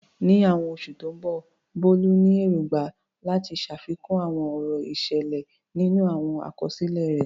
Ní àwọn oṣù tó ń bọ̀, Bolu ní èrògbà láti ṣàfikún àwọn ọ̀rọ̀ ìsàlẹ̀ nínú àwọn àkọsílẹ̀ rẹ̀.